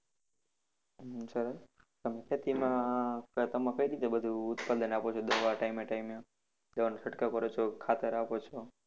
અમ સરસ તમે ખેતીમાં તમે કઈ રીતે બધું ઉત્પાદન આપો છો દવા ટાઇમે ટાઇમે દવાનો છંકાવ કરો છો ખાતર આપો છો?